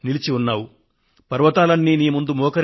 పర్వతాలు గగనతలం ఈ దేశం నీకు ప్రణమిల్లుతున్నాయి